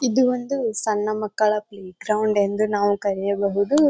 ಇದೊಂದು ಸಣ್ಣ ಮಕ್ಕಳ ಪ್ಲೇ ಗ್ರೌಂಡ್ ಎಂದು ನಾವು ಕರಿಯಬಹುದು.